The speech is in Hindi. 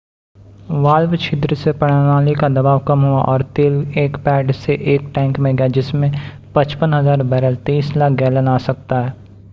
वाल्व छिद्र से प्रणाली का दबाव कम हुआ और तेल एक पैड से एक टैंक में गया जिसमें 55,000 बैरल 23 लाख गैलन आ सकता है।